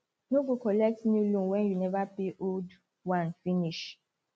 no go collect new loan when you never pay old one finish